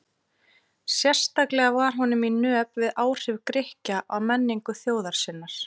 Sérstaklega var honum í nöp við áhrif Grikkja á menningu þjóðar sinnar.